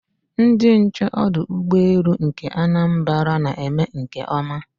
Ndị nche ọdụ ụgbọelu nke Anambra na-eme nke ọma